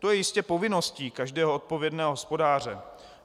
To je jistě povinností každého odpovědného hospodáře.